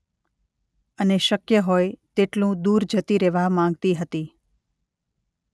અને શક્ય હોય તેટલુ દૂર જતી રહેવા માંગતી હતી.